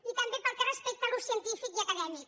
i també pel que respecta a l’ús científic i acadèmic